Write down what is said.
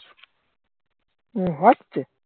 উম হচ্ছে